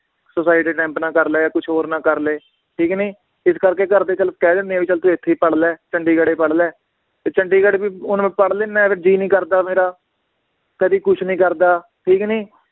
Suicide attempt ਨਾ ਕਰਲੇ ਕੁਛ ਹੋਰ ਨਾ ਕਰਲੇ ਠੀਕ ਨੀ, ਇਸ ਕਰਕੇ ਘਰਦੇ ਚਲ ਕਹਿ ਦਿੰਦੇ ਵੀ ਚਲ ਤੂੰ ਇਥੇ ਈ ਪੜ੍ਹਲੇ ਚੰਡੀਗੜ੍ਹ ਹੀ ਪੜ੍ਹਲੇ ਤੇ ਚੰਡੀਗੜ੍ਹ ਵੀ ਹੁਣ ਮੈ ਪੜ੍ਹ ਲੈਨਾ ਹੈ, ਫਿਰ ਜੀ ਨੀ ਕਰਦਾ ਮੇਰਾ ਕਦੀ ਕੁਛ ਨੀ ਕਰਦਾ ਠੀਕ ਨੀ